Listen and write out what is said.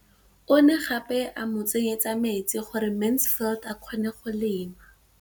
O ne gape a mo tsenyetsa metsi gore Mansfield a kgone go lema.